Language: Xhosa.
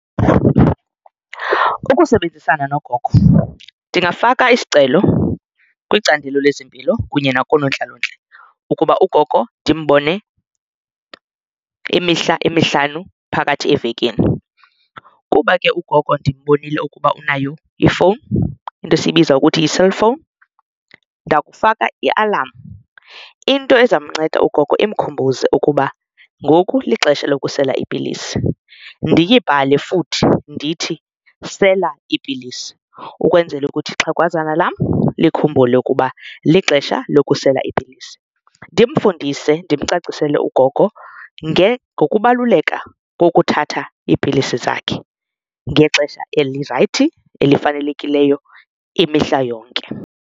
Ukusebenzisana nogogo ndingafaka isicelo kwicandelo lezempilo kunye nakoonontlalontle ukuba ugogo ndimbone imihla emihlanu phakathi evekini. Kuba ke ugogo ndimbonile ukuba unayo ifowuni into esiyibiza ukuthi yi-cellphone ndakufaka iialam into ezamnceda ugogo imkhumbuzo ukuba ngoku lixesha lokusela iipilisi ndiyibhale futhi ndithi sela iipilisi. Ukwenzela ukuthi ixhegwazana lam likhumbule ukuba lixesha lokusela iipilisi ndimfundise, ndimcacisele ugogo ngokubaluleka kokuthatha iipilisi zakhe ngexesha elirayithi elifanelekileyo imihla yonke.